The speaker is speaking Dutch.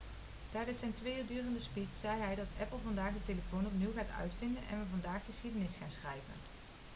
tijdens zijn twee uur durende speech zei hij dat apple vandaag de telefoon opnieuw gaat uitvinden en we vandaag geschiedenis gaan schrijven'